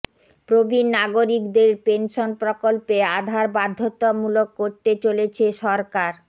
প্রবীণ নাগরিকদের পেনশন প্রকল্পে আধার বাধ্যতামূলক করতে চলেছে সরকার